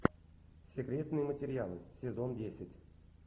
секретные материалы сезон десять